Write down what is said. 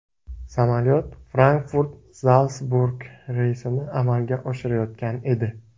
Samolyot Frankfurt – Zalsburg reysini amalga oshirayotgan edi.